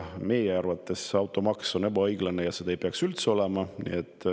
Meie arvates on see automaks ebaõiglane ja seda ei peaks üldse olema.